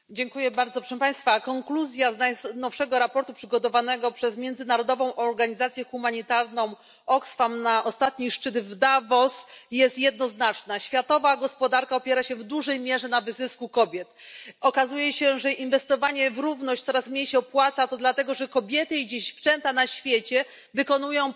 Panie Przewodniczący! Wniosek z najnowszego raportu przygotowanego przez międzynarodową organizację humanitarną Oxfam na ostatni szczyt w Davos jest jednoznaczny światowa gospodarka opiera się w dużej mierze na wyzysku kobiet. Okazuje się, że inwestowanie w równość coraz mniej się opłaca, a to dlatego że kobiety i dziewczęta na świecie wykonują